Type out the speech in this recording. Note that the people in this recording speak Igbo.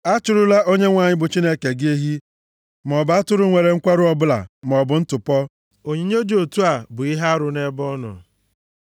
Achụrụla Onyenwe anyị bụ Chineke gị ehi maọbụ atụrụ nwere nkwarụ ọbụla maọbụ ntụpọ. Onyinye dị otu a bụ ihe arụ nʼebe ọ nọ.